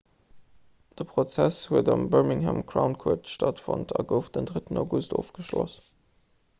de prozess huet am birmingham crown court stattfonnt a gouf den 3 august ofgeschloss